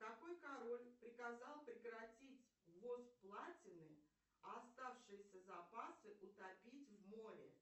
какой король приказал прекратить ввоз платины а оставшиеся запасы утопить в море